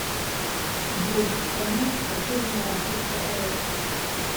джой страна заслуженная артистка рф